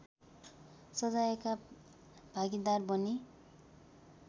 सजायका भागीदार बने